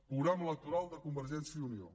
programa electoral de convergència i unió